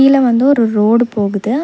சைட்ல வந்து ஒரு ரோடு போகுது.